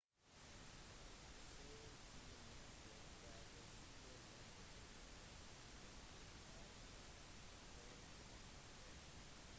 ca ti minutter før det skulle lande etter sin andre innflyvning forsvant det